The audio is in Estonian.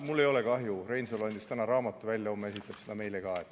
Mul ei ole kahju, Reinsalu andis täna raamatu välja ja homme esitleb seda meile ka.